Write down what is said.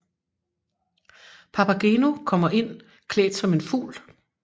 Papageno kommer ind klædt som en fugl